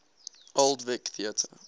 old vic theatre